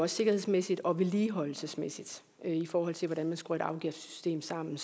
sikkerhedsmæssige og vedligeholdelsesmæssige i forhold til hvordan man skruer et afgiftssystem sammen